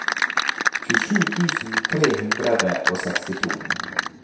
tjuesju tusen tre hundre og sekstito